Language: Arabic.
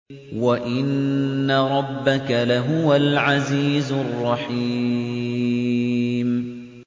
وَإِنَّ رَبَّكَ لَهُوَ الْعَزِيزُ الرَّحِيمُ